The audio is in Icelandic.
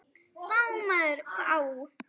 Vá maður vá!